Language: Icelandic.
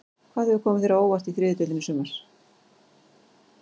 Hvað hefur komið þér á óvart í þriðju deildinni í sumar?